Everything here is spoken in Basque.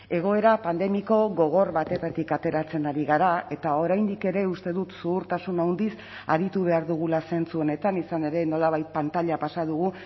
egoera pandemiko gogor batetik ateratzen ari gara eta oraindik ere uste dut zuhurtasun handiz aritu behar dugula zentzu honetan izan ere nolabait pantaila pasa dugu